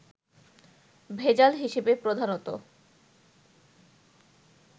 ভেজাল হিসেবে প্রধানত